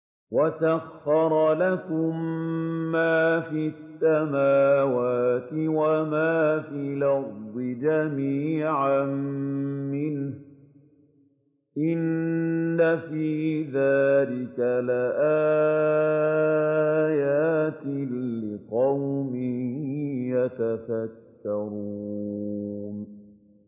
وَسَخَّرَ لَكُم مَّا فِي السَّمَاوَاتِ وَمَا فِي الْأَرْضِ جَمِيعًا مِّنْهُ ۚ إِنَّ فِي ذَٰلِكَ لَآيَاتٍ لِّقَوْمٍ يَتَفَكَّرُونَ